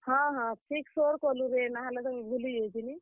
ହଁ ହଁ, ଠିକ୍ ସୋର୍ କଲୁରେ। ନାହେଲେ ତ ମୁଇଁ ଭୁଲି ଯାଇଥିଲି।